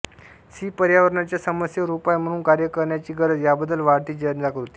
C पर्यावरणाच्या समस्येवर उपाय म्हणून कार्य करण्याची गरज याबद्दल वाढती जनजागृती